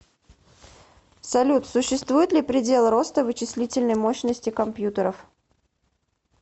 салют существует ли предел роста вычислительной мощности компьютеров